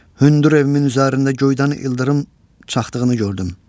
Hündür evimin üzərində göydən ildırım çaxdığını gördüm.